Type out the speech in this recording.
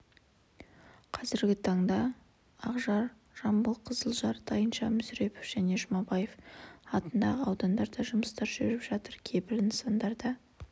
қазіргі таңда ақжар жамбыл қызылжар тайынша мүсірепов және жұмабаев атындағы аудандарда жұмыстар жүріп жатыр кейбір нысандарда